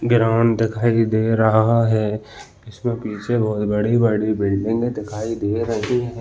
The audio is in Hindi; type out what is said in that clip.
वीरान दिखाई दे रहा है इसमें पीछे बहुत बड़ी बड़ी बिल्डिंगे दिखाई दे रहीं हैं ।